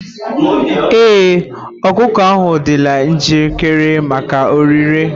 Ee, ọkụkọ ahụ adịla njikere maka ọrịre.